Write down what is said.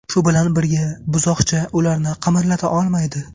Shu bilan birga, buzoqcha ularni qimirlata olmaydi.